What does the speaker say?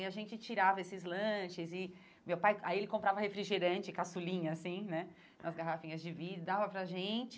E a gente tirava esses lanches e meu pai, aí ele comprava refrigerante caçulinha assim, né, nas garrafinhas de vidro e dava para a gente.